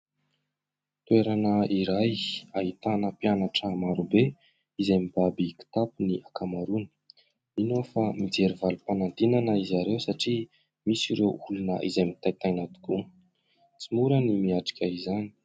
Toerana iray ahitana mpianatra maro be izay mibaby kitapy ny ankamaroany. Mino aho fa mijery valim-panadinana izareo satria misy ireo olona izay mitaintaina tokoa tsy mora ny miatrika izany.